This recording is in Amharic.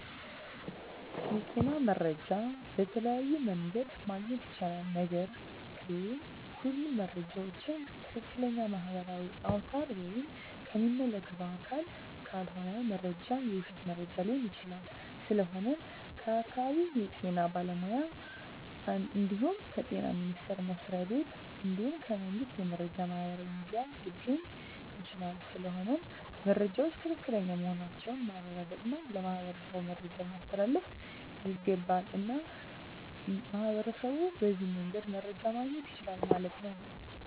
የጤና መረጃ በተለያዮ መንገድ ማግኘት ይቻላል ነገርግ ሁሉም መረጃ ዎችን ከትክለኛ ማህበራዊ አውታር ወይም ከሚመለከተው አካል ካልሆነ መረጃው የውሽት መረጃ ሊሆን ይችላል ስለሆነም ከአካባቢው የጤና ባለሙያ እንድሁም ከጤና ሚኒስተር መስሪያ ቤት እንድሁም ከመንግስት የመረጃ ማህበራዊ ሚዲያ ሊገኝ ይቻላል ስለሆነም መረጃወች ትክክለኛ መሆናቸውን ማረጋገጥ እና ለማህበረሠቡ መረጃን ማስተላለፍ ይገባል። እና ሚህበረሸቡ በዚህ መንገድ መረጃ ማገኘት ይችላሉ ማለት ነው